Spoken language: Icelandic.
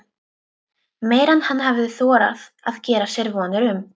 Meira en hann hafði þorað að gera sér vonir um.